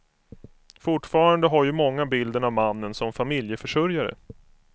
Fortfarande har ju många bilden av mannen som familjeförsörjare.